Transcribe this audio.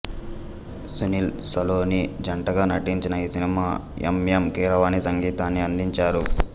సునీల్ సలోని జంటగా నటించిన ఈ సినిమాకి ఎం ఎం కీరవాణి సంగీతాన్ని అందించారు